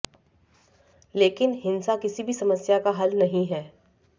लेकिन हिंसा किसी भी समस्या का हल नहीं है